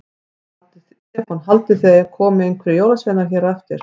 Stefán: Haldið þið að það komi einhverjir jólasveinar hér á eftir?